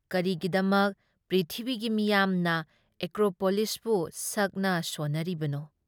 ꯀꯔꯤꯒꯤꯗꯃꯛ ꯄ꯭ꯔꯤꯊꯤꯕꯤꯒꯤ ꯃꯤꯌꯥꯝꯅ ꯑꯦꯀ꯭ꯔꯣꯄꯣꯂꯤꯁꯄꯨ ꯁꯛꯅ-ꯁꯣꯟꯅꯔꯤꯕꯅꯣ?